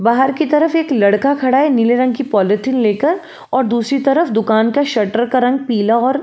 बाहर की तरफ एक लड़का खड़ा है नीले रंग की पॉलीथिन लेकर और दूसरी तरफ दुकान की शटर का रंग पीला और --